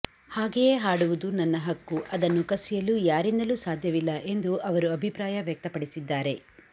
ಹಾಗೆಯೇ ಹಾಡುವುದು ನನ್ನ ಹಕ್ಕು ಅದನ್ನು ಕಸಿಯಲು ಯಾರಿಂದಲೂ ಸಾಧ್ಯವಿಲ್ಲ ಎಂದು ಅವರು ಅಭಿಪ್ರಾಯ ವ್ಯಕ್ತಪಡಿಸಿದ್ದಾರೆ